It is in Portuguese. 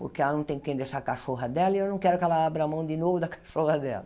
Porque ela não tem quem deixar a cachorra dela e eu não quero que ela abra a mão de novo da cachorra dela.